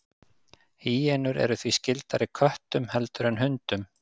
Hýenur eru því skyldari köttum heldur en hundum.